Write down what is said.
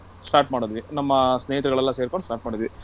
start ಮಾಡಿದ್ವಿ. ನಮ್ಮ ಸ್ನೇಹಿತರಗಳೆಲ್ಲ ಸೇರ್ಕೊಂಡು start ಮಾಡಿದ್ವಿ.